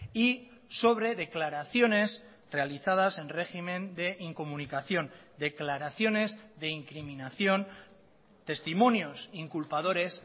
y sobre declaraciones realizadas en régimen de incomunicación declaraciones de incriminación testimonios inculpadores